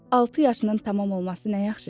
Altı yaşının tamam olması nə yaxşı şeydir!